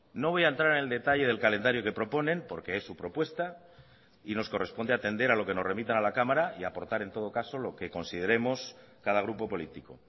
no voy a entrar en el detalle del calendario que proponen porque es su propuesta y nos corresponde atender a lo que nos remitan a la cámara y a aportar en todo caso lo que consideremos cada grupo político